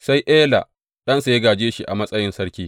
Sai Ela ɗansa ya gāje shi a matsayin sarki.